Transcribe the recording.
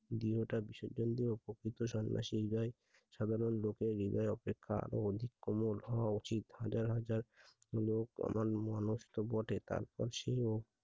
দেহটা বিসর্জন দিয়ে প্রকৃত সন্ন্যাসীদের সাধারণ হৃদয় অপেক্ষা আরো অধিক কোমল হওয়া উচিত। হাজার হাজার লোক কেমন মানুষ তো বটে তারপর সে